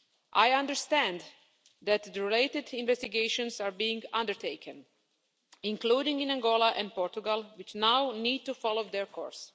I understand that related investigations are being undertaken, including in Angola and Portugal, which now need to follow their course.